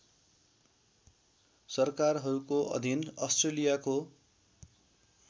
सरकारहरूको अधीन अस्ट्रेलियाको